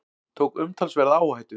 Tók umtalsverða áhættu